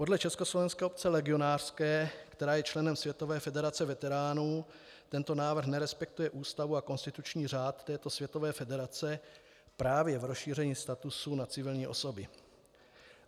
Podle Československé obce legionářské, která je členem Světové federace veteránů, tento návrh nerespektuje ústavu a konstituční řád této světové federace právě v rozšíření statutu na civilní osoby.